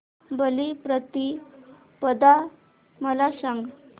बलिप्रतिपदा मला सांग